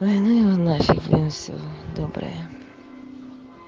да ну его нафиг все доброе